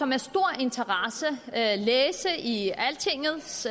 med stor interesse læse i altingets